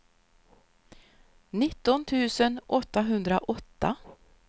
nitton tusen åttahundraåtta